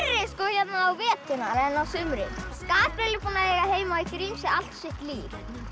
hérna á veturna en á sumrin Gabríel er búinn að eiga heima í Grímsey allt sitt líf